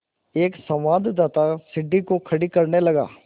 एक संवाददाता सीढ़ी को खड़ा करने लगा